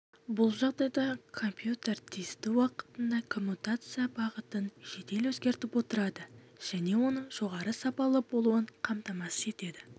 бұл жағдайда компьютер тиісті уақытында коммутация бағытын жедел өзгертіп отырады және оның жоғары сапалы болуын қамтамасыз етеді